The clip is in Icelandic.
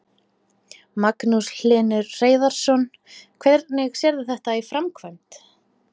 Magnús Hlynur Hreiðarsson: Hvernig sérðu þetta í framkvæmd?